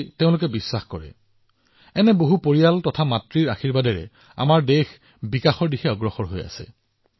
এনে বহুতো পৰিয়ালৰ আশীৰ্বাদ লাখ লাখ মাতৃৰ আশীৰ্বাদৰ সৈতে আমাৰ দেশ দৃঢ়ভাৱে উন্নয়নৰ দিশে আগবাঢ়িছে